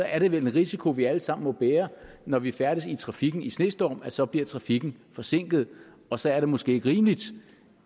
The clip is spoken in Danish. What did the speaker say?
er det vel en risiko vi alle sammen må bære når vi færdes i trafikken i snestorm så bliver trafikken forsinket og så er det måske ikke rimeligt